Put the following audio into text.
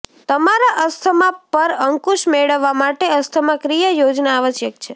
તમારા અસ્થમા પર અંકુશ મેળવવા માટે અસ્થમા ક્રિયા યોજના આવશ્યક છે